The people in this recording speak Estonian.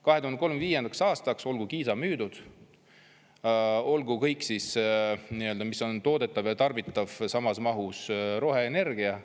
2035. aastaks olgu Kiisa müüdud, olgu kõik, mis on toodetav ja tarbitav, samas mahus roheenergia.